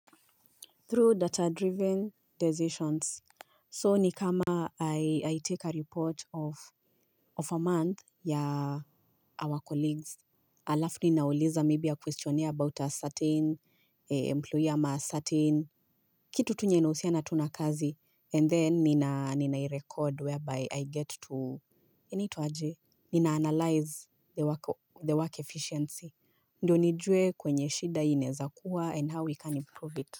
Through data-driven decisions, so ni kama I take a report of a month ya our colleagues. Alafu ninauliza maybe a question about a certain employer ama a certain. Kitu tu yenye inahusiana na kazi and then ninairecord whereby I get to inaitwa ajy? Nina analyze the work efficiency. Ndiyo nijue kwenye shida inaezakuwa and how we can improve it.